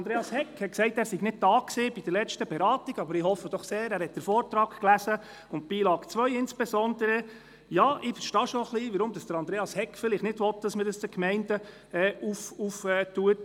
Andreas Hegg hat gesagt, er sei bei der letzten Beratung nicht anwesend gewesen, aber ich hoffe, er habe den Vortrag gelesen, insbesondere die Beilage 2. Ja, ich kann schon ein bisschen verstehen, weshalb er nicht will, dass man das den Gemeinden anlastet.